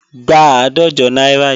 Gba àádọ́jọ náírà yìí!